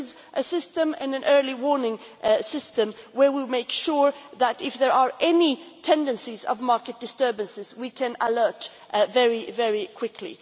There is a system, an early warning system, where we make sure that, if there are any tendencies of market disturbances, we can alert very, very quickly.